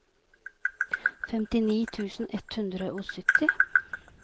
femtini tusen ett hundre og sytti